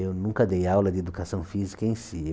Eu nunca dei aula de Educação Física em si.